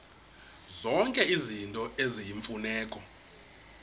zonke izinto eziyimfuneko